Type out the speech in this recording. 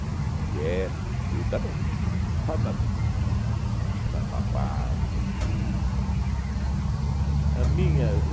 com quepe e tudo, era um um f um, fardamento, talabarte e tudo etcetera. A minha